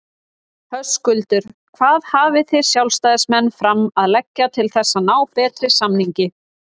Höskuldur: Hvað hafið þið sjálfstæðismenn fram að leggja til þess að ná betri samningi?